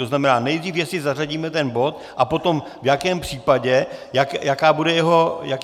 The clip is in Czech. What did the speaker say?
To znamená, nejdřív jestli zařadíme ten bod a potom v jakém případě, jaký bude jeho obsah.